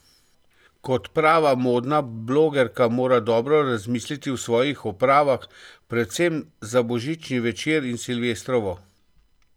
Kot prava modna blogerka mora dobro razmisliti o svojih opravah, predvsem za božični večer in silvestrovo.